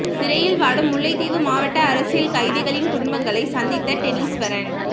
சிறையில் வாடும் முல்லைத்தீவு மாவட்ட அரசியல் கைதிகளின் குடும்பங்களை சந்தித்த டெனிஸ்வரன்